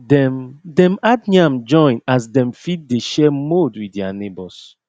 dem dem add yam join as dem fit dey share mould with their neighbours